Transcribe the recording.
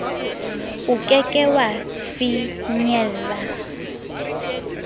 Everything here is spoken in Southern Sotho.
o ke ke wa finyella